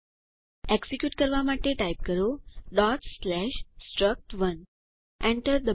execute કરવા માટે type કરો struct1 એન્ટર ડબાઓ